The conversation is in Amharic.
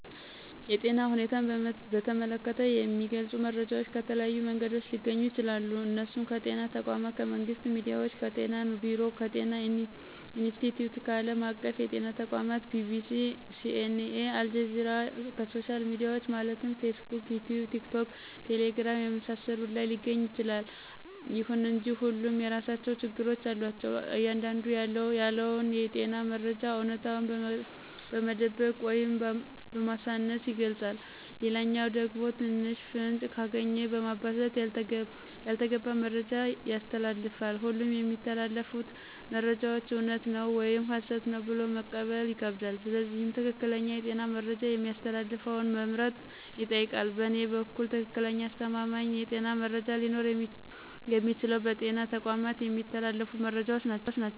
የጤና ሁኔታን በተመለከተ የሚገልጹ መረጃዎች ከተለያዩ መንገዶች ሊገኙ ይችላሉ እነሱም ከጤና ተቋማት :ከመንግስት ሚዲያዎች :ከጤና ቢሮ :ከጤና ኢንስትቲዮት :ከአለም አቀፍ የጤና ተቋማት :BBC :CNA :አልጀዚራና ከሶሻል ሚዲያዎች ማለትም ፌስቡክ: ይቲዩብ :ቲክቶክና ቴሌግራም የመሳሰሉት ላይ ሊገኝ ይችላል። ይሁን እንጂ ሁሉም የየራሳቸው ችግሮች አሏቸው አንዳንዱ ያለውን የጤና መረጃ አውነታውን በመደበቅ ወይም በማሳነስ ይገልጻል ሌላኛው ደግሞ ትንሽ ፍንጭ ካገኘ በማባዛት ያልተገባ መረጃ ያስተላልፋል ሁሉም የሚተላለፉት መረጃዎች እውነት ነው ወይም ሀሰት ነው ብሎ መቀበል ይከብዳል ስለዚህ ትክክለኛ የጤና መረጃ የሚያስተላልፈውን መምረጥ ይጠይቃል በእኔ በኩል ትክክለኛና አስተማማኝ የጤና መረጃ ሊኖረው የሚችለው በጤና ተቋማት የሚተላለፉት መረጃዎች ናቸው